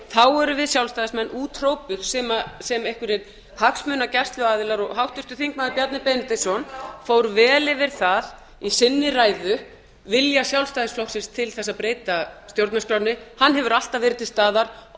þá erum við sjálfstæðismenn úthrópuð sem einhverjir hagsmunagæsluaðilar háttvirtur þingmaður bjarni benediktsson fór vel yfir í sinni ræðu vilja sjálfstæðisflokksins til þess að breyta stjórnarskránni hann hefur alltaf verið til staðar